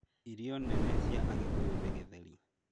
Irio nene cia Agĩkũyũ nĩ Githeri